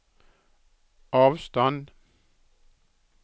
avstand